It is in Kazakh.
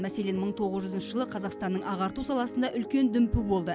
мәселен мың тоғыз жүзінші жылы қазақстанның ағарту саласында үлкен дүмпу болды